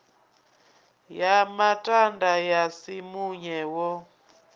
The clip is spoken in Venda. ya matanda ya simunye wo